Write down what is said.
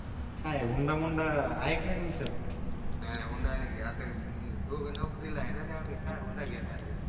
काय हुंडामुंडा आहे की नाही तुमच्या नाही नाही होंडा नाही. घेत आता आम्ही दोघं नोकरीला आहे ना आम्ही काय हुंडा घेणार आहे.